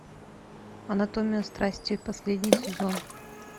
анатомия страсти последний сезон